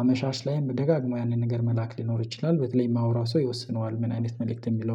አመሻሽ ላይም ደጋግሞ ያንን ነገር መላክ ሊኖር ይችላል። በተለይ የማወራው ሰው ይወስነዋል ምን አይነት መልእክት የሚለው